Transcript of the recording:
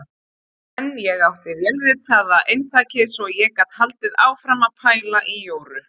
En ég átti vélritaða eintakið svo ég gat haldið áfram að pæla í Jóru.